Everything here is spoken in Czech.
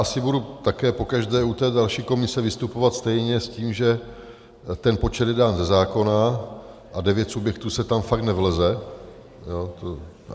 Asi budu také pokaždé u té další komise vystupovat stejně s tím, že ten počet je dán ze zákona a devět subjektů se tam fakt nevleze.